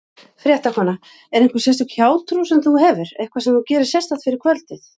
Fréttakona: Er einhver sérstök hjátrú sem þú hefur, eitthvað sem þú gerir sérstakt fyrir kvöldið?